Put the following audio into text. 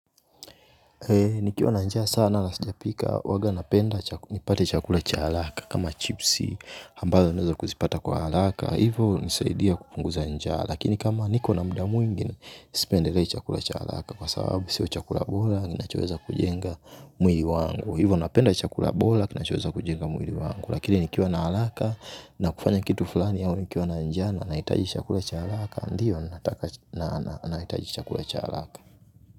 Nikiwa na njaa sana na sijapika huwaga napenda nipate chakula cha haraka kama chipsi ambazo naweza kuzipata kwa haraka. Hivo hunisaidia kupunguza njaa. Lakini kama niko na muda mwingi, sipendelei chakula cha haraka kwa sababu sio chakula bora ninachoweza kujenga. Mwili wangu. Hivo napenda chakula bora kinachoweza kujenga mwili wangu. Lakini nikiwa na haraka, na kufanya kitu fulani au nikiwa na njaa na naitaji chakula cha haraka. Ndiyo naitaji chakula cha halaka.